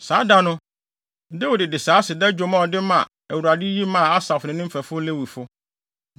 Saa da no, Dawid de saa aseda dwom a ɔde ma Awurade yi maa Asaf ne ne mfɛfo Lewifo: